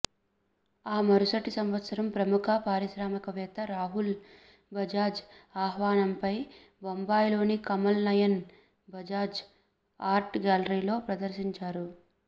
ఆ మరుసటి సంవత్సరం ప్రముఖ పారిశ్రామికవేత్త రాహుల్ బజాజ్ ఆహ్వానంపై బొంబాయిలోని కమల్ నయన్ బజాజ్ ఆర్ట్ గ్యాలరీలో ప్రదర్శించారు